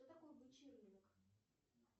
кто такой бычий рынок